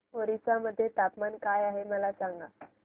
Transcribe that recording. ओरिसा मध्ये तापमान काय आहे मला सांगा